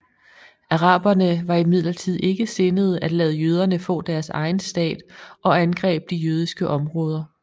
Araberne var imidlertid ikke sindede at lade jøderne få deres egen stat og angreb de jødiske områder